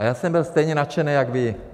A já jsem byl stejně nadšený jako vy.